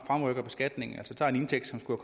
skulle